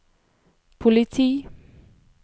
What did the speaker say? politi